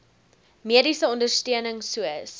mediese ondersteuning soos